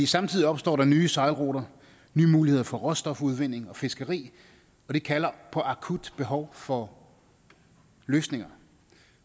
samtidig opstår der nye sejlruter nye muligheder for råstofudvinding og fiskeri og det kalder på akut behov for løsninger